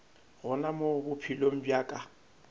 gona mo bophelong bja ka